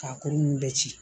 K'a kolo ninnu bɛɛ ci